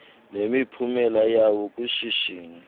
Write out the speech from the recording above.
nemiphumela yawo kwishishini